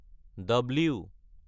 W